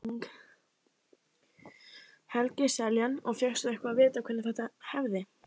Helgi Seljan: Og fékkstu eitthvað að vita hvenær þetta hefði?